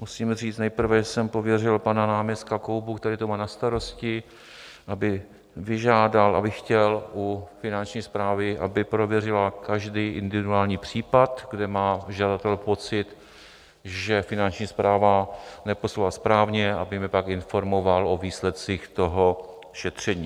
Musím říct nejprve, že jsem pověřil pana náměstka Koubu, který to má na starosti, aby vyžádal, aby chtěl u Finanční správy, aby prověřila každý individuální případ, kde má žadatel pocit, že Finanční správa neposlala správně, aby mě pak informoval o výsledcích toho šetření.